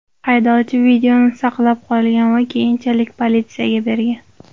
Haydovchi videoni saqlab qolgan va keyinchalik politsiyaga bergan.